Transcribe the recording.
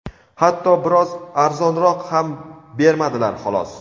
hatto biroz arzonroq ham bermadilar, xolos.